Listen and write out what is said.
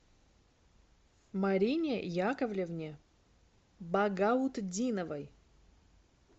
марине яковлевне багаутдиновой